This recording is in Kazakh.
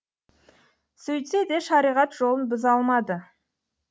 сөйтсе де шариғат жолын бұза алмады